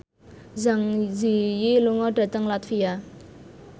Zang Zi Yi lunga dhateng latvia